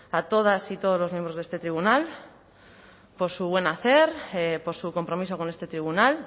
a todas y todos los miembros de este tribunal por su buen hacer por su compromiso con este tribunal